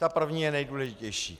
Ta první je nejdůležitější.